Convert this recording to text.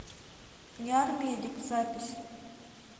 ниармедик запись